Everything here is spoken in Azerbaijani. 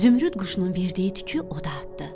Zümrüd quşunun verdiyi tükü oda atdı.